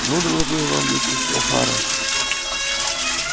ну доложу я вам миссис охара